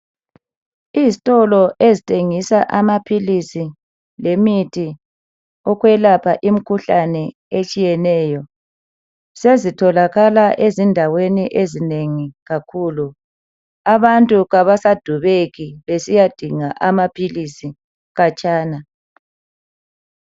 Izitolo ezithengisa amaphilisi lemithi yokwelapha imikhuhlane etshiyeneyo sezitholakala ezindaweni ezinengi kakhulu abantu kabasadubeki besiyadinga amaphilisi khatshana.